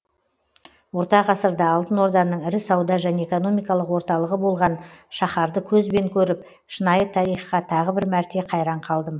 орта ғасырда алтын орданың ірі сауда және экономикалық орталығы болған шаһарды көзбен көріп шынайы тарихқа тағы бір мәрте қайран қалдым